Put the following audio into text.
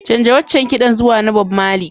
Canza waccan kiɗan zuwa na Bob Marley.